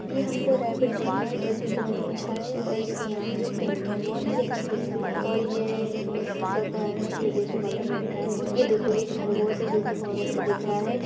ये हमको रैबिट दिख रहा है जो की बहुत अच्छा है और इसकी आँख जो पिक है बहुत हि अच्छा दिख रहा है और ये उसिका घर है ये देख वाला बैठा है ये देखो ये खरगोश है जो की बहुत अच्छा दिख रहा है।